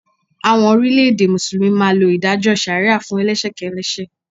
Àwọn orílẹ̀ẹ̀dè Mùsùlùmí máa lo ìdájọ́ ṣàríà fún elẹ́ṣẹ̀ kẹ́lẹ́ṣẹ̀.